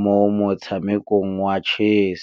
mo motshamekong wa chess.